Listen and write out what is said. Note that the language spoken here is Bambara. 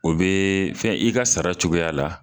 O bee fɛn i ka sara cogoya la